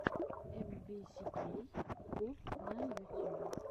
эм би си кей поп на ютюбе